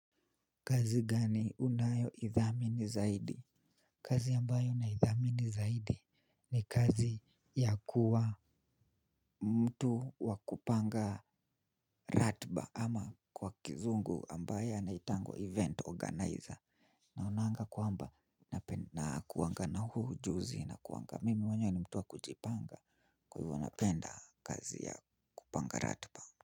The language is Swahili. Kazi gani unayoidhamini zaidi? Kazi ambayo naidhamini zaidi ni kazi ya kuwa mtu wakupanga ratiba ama kwa kizungu ambaye anaitangwa event organizer. Naonanga kwamba nakuanga na huo ujuzi nakuanga. Mimi mwenyewe ni mtu wa kujipanga kwa hivyo napenda kazi ya kupanga ratiba.